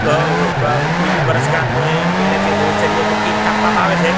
બ બ કોઈની વરસગાંઠ હોય મેરેજ એનિવર્સરી હોય તો કેક કાપવામાં આવે છે.